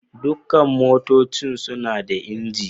Dukan motoci suna da injin.